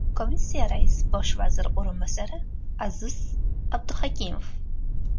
Komissiya raisi bosh vazir o‘rinbosari Aziz Abduhakimov.